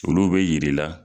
Olu bɛ yir'i la